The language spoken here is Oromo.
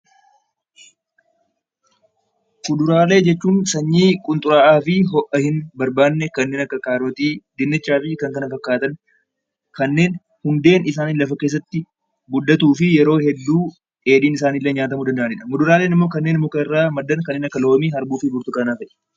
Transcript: Fuduraalee jechuun sanyii qunxuraa fi ho'aa barbaanne kanneen akka kaarotii , dinnichaa fi kanneen kana fakkaatan kanneen hundeen isaanii lafa keessatti guddatuu fi yeroo hedduu dheedhiin isaanii nyaatamuu danda'udha. Isaanis kanneen mukarraa maddan kanneen akka loomii, burtukaanaa fi arbuuti.